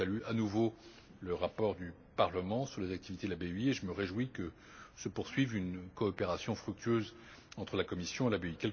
Je salue à nouveau le rapport du Parlement sur les activités de la BEI et je me réjouis que se poursuive une coopération fructueuse entre la Commission et la BEI.